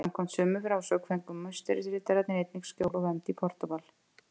Samkvæmt sömu frásögn fengu Musterisriddarar einnig skjól og vernd í Portúgal.